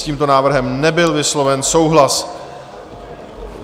S tímto návrhem nebyl vysloven souhlas.